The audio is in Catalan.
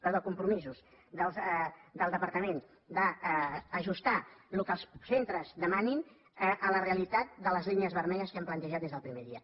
perdó compromisos del departament d’ajustar el que els centres demanin a la realitat de les línies vermelles que hem plantejat des del primer dia